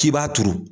K'i b'a turu